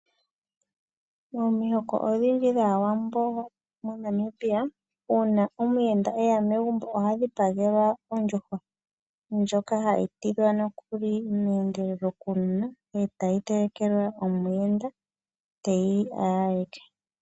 Omihoko odhindji dhawambo monamibia uuna omuyenda eya megumbo oha dhipagelwa ondjuhwa ndjoka hayi tidhwa nokuli mendelelo kuunona tayi telekelwa omuyenda opo alye.